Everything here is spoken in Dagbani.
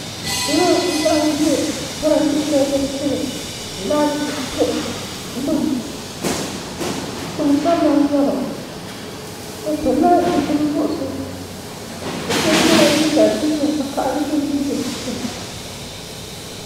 salo n laɣam ʒɛ parantɛ shɛli din tiri laati buɣum gbuni gbansabila n nyɛba bi pilila zipili nuɣsi bi shab yɛla liiga din nyɛ vakaɣali din dii bi di shim